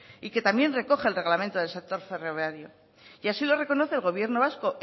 y que también recoge el reglamento del sector ferroviario y así lo reconoce el gobierno vasco